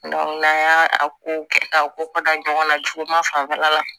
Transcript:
n'an y'a a ko kɛ k'a ko ka da ɲɔgɔn na juguman fanfɛla la